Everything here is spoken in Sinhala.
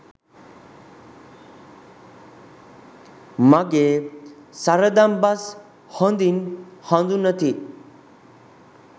මගේ සරදම් බස් හොඳින් හඳුනති.